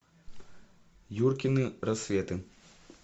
юркины рассветы